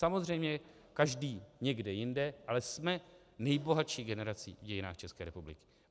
Samozřejmě každý někde jinde, ale jsme nejbohatší generací v dějinách České republiky.